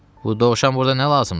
Bu dovşan burda nə lazımdı?